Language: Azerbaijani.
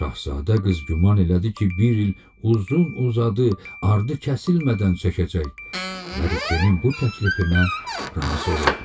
Şahzadə qız güman elədi ki, bir il uzun-uzadı ardı kəsilmədən çəkəcək və Rikenin bu təklifinə razı oldu.